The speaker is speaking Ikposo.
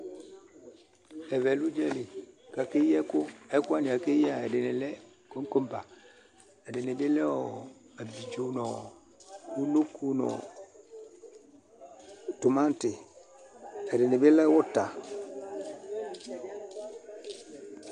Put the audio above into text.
Ɛvɛ lɛ ʊdzalɩ kakeyɩ ɛkʊ Ɛkʊ wanɩ kakeyɩa ɛdɩnɩ lɛ kɔkɔba, ɛdɩnɩ ablɩdzo nʊ ʊnoko nʊ tɩmatɩ Ɛdɩnɩ bɩ lɛ ʊta